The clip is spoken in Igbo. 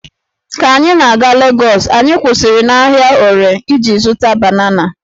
Ka anyị na-aga Legọs, anyị kwụsịrị n'ahịa Ore iji zụta banana